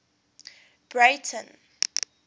breyten